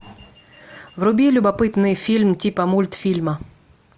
вруби любопытный фильм типа мультфильма